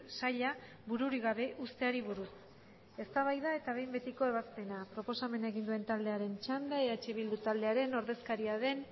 saila bururik gabe uzteari buruz eztabaida eta behin betiko ebazpena proposamena egin duen taldearen txanda eh bildu taldearen ordezkaria den